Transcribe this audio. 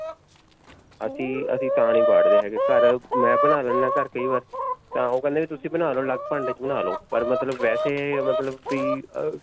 ਅਸੀਂ, ਅਸੀਂ ਤਾਂ ਨਹੀਂ ਵਾੜਦੇ ਹੈਗੇ ਘਰ. ਮੈਂ ਬਣਾ ਲੈਂਦਾ ਹਾਂ ਘਰ ਕਈ ਬਾਰ ਤਾਂ ਓਹ ਕਹਿੰਦੇ ਨੇ ਤੁਸੀਂ ਬਣਾ ਲੋ ਅਲੱਗ ਭਾਂਡੇ 'ਚ ਬਣਾ ਲੋ ਪਰ ਮਤਲਬ ਵੈਸੇ ਮਤਲਬ ਵੀ